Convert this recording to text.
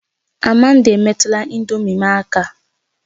Amanda, emetụla ị̀ndómị́ m aka!